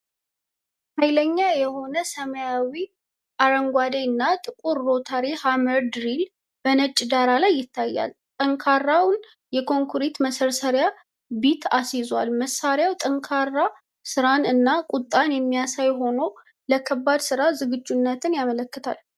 ኃይለኛ የሆነው ሰማያዊ አረንጓዴ እና ጥቁር ሮታሪ ሃመር ድሪል በነጭ ዳራ ላይ ይታያል። ጠንካራውን የኮንክሪት መሰርሰሪያ ቢት አስይዟል። መሣሪያው ጠንካራ ስራን እና ቁጣን የሚያሳይ ሆኖ፣ ለከባድ ሥራ ዝግጁነትን ያመለክታል።